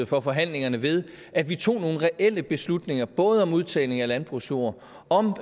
for forhandlingerne ved at vi tog nogle reelle beslutninger om både udtagning af landbrugsjord om